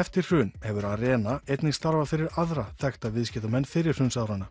eftir hrun hefur Arena einnig starfað fyrir aðra þekkta viðskiptamenn fyrrihrunsárana